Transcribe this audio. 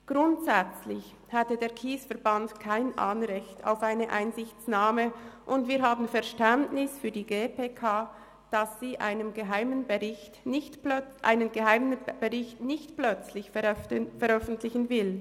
Grundsätzlich hätte der KSE Bern kein Anrecht auf eine Einsichtnahme, und wir haben Verständnis für die GPK, dass sie einen geheimen Bericht nicht plötzlich veröffentlichen will.